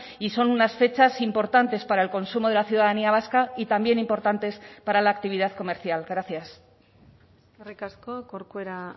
y son unas fechas importantes para el consumo de la ciudadanía vasca y también importantes para la actividad comercial gracias eskerrik asko corcuera